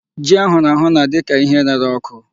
Ji a hụrụ ahụ na-adị ka ihe rere ọkụ.